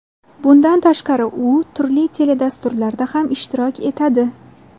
Bundan tashqari u turli teledasturlarda ham ishtirok etadi.